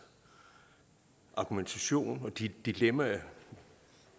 argumentation og de dilemmaer